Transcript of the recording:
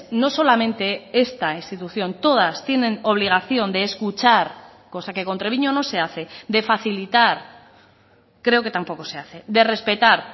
no solamente esta institución todas tienen obligación de escuchar cosa que con treviño no se hace de facilitar creo que tampoco se hace de respetar